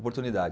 Oportunidade